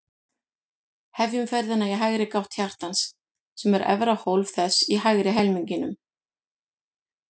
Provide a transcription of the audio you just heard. Hefjum ferðina í hægri gátt hjartans, sem er efra hólf þess í hægri helmingnum.